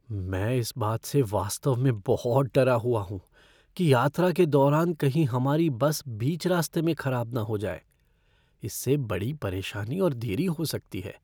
मैं इस बात से वास्तव में बहुत डरा हुआ हूँ कि यात्रा के दौरान कहीं हमारी बस बीच रास्ते में खराब न हो जाए। इससे बड़ी परेशानी और देरी हो सकती है।